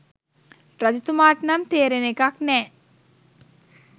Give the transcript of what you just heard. රජතුමාට නම් තේරෙන එකක් නෑ